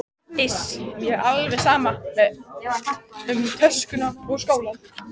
Iss, mér er alveg sama um töskuna og skólann